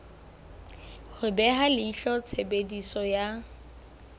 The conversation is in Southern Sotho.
ho beha leihlo tshebediso ya